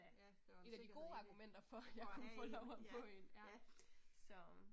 Ja, der var sikkerhed i det, for at have én, ja ja